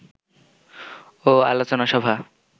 ও আলোচনা সভা